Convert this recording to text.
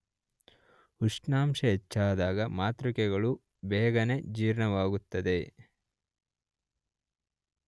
ಉಷ್ಣಾಂಶ ಹೆಚ್ಚಾದಾಗ ಮಾತೃಕೆಗಳು ಬೇಗನೇ ಜೀರ್ಣವಾಗುತ್ತದೆ